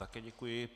Také děkuji.